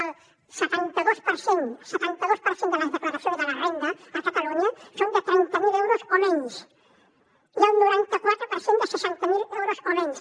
el setanta dos per cent setanta dos per cent de les declaracions de la renda a catalunya són de trenta mil euros o menys i el noranta quatre per cent de seixanta mil euros o menys